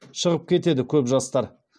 шығып кетеді көп жастар